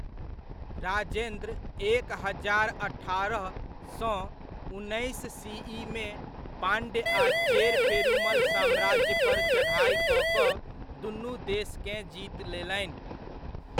राजेन्द्र एक हजार अठारह सँ उन्नैस सीइमे पाण्ड्य आ चेर पेरुमल साम्राज्य पर चढ़ाइ कऽ कऽ दुनू देशकेँ जीत लेलनि।